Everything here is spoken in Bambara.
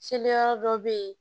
Seli yɔrɔ dɔ be yen